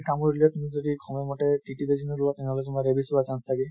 কামুৰিলেও তুমি যদি সময় মতে TT বেজি নোলোৱা তেনেহʼলে তোমাৰ rabies হোৱাৰ chance থাকে